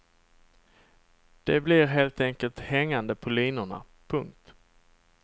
De blir helt enkelt hängande på linorna. punkt